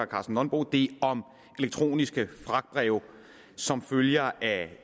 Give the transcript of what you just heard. karsten nonbo det om elektroniske fragtbreve som følger af